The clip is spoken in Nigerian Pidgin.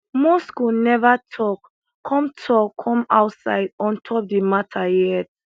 moscow neva tok come tok come outside on top di mata yet